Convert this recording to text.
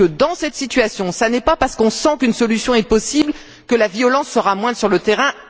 Dans cette situation, ce n'est pas parce qu'on sent qu'une solution est possible que la violence sera moindre sur le terrain.